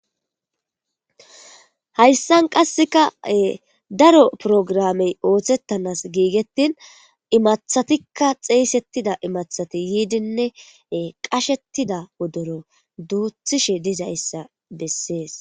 hayssan qassekae daro programey ooththettanas giigettin imathatikka xeeysettida imathati yiidinne qashettida odoro duuthishe dizayssa bessees